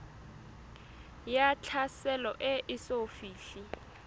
ya tlhaselo e eso fihle